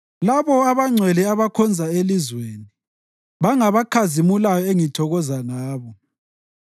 Labo abangcwele abakhona elizweni bangabakhazimulayo engithokoza ngabo.